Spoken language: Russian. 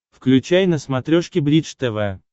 включай на смотрешке бридж тв